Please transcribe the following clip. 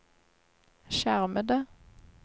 skjermede